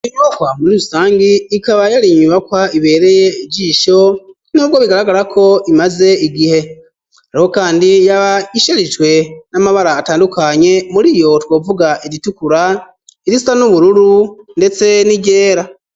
Inohwa muri rusangi ikaba yari inyubakwa ibereye jisho n'ubwo bigaragarako imaze igihe ariho, kandi yaba isharijwe n'amabara atandukanye muri iyo twovuga igitukura irisia n'ubururu, ndetse n'iryera.